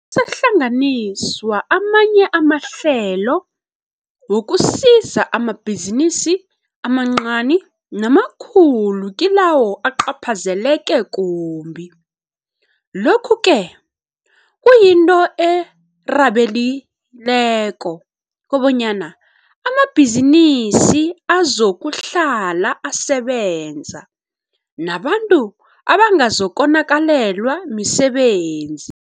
sahlanganiswa amanye amahlelo wokusiza amabhizinisi amancani namakhulu kilawo acaphazeleke kumbi. Lokhu-ke kuyinto erhabekileko, kobanyana amabhizinisi azokuhlala asebenza, nabantu bangazokonakalelwa misebenzi